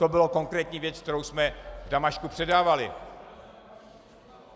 To byla konkrétní věc, kterou jsme v Damašku předávali.